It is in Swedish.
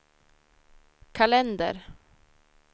kalender